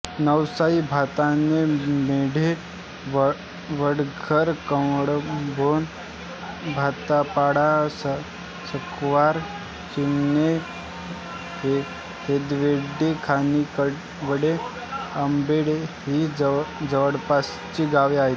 नवसाई भाताणे मेढे वडघर कळंभोण भातपाडा सकवार चिमणे हेदवडे खानिवडे आंबोडे ही जवळपासची गावे आहेत